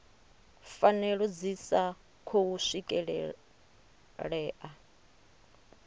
pfanelo dzi sa khou swikelelea